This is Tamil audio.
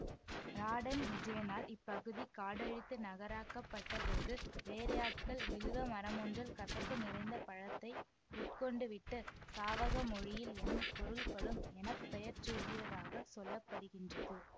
ராடன் விஜயனால் இப்பகுதி காடழித்து நகராக்கப்பட்ட போது வேலையாட்கள் வில்வ மரமொன்றின் கசப்பு நிறைந்த பழத்தை உட்கொண்டுவிட்டு சாவக மொழியில் எனும் பொருள்படும் என பெயர்சூட்டியதாகச் சொல்ல படுகின்றது